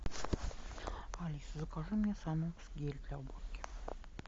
алиса закажи мне санокс гель для уборки